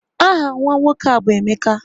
Aha nwa nwoke ahụ bụ Emeka